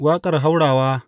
Waƙar haurawa.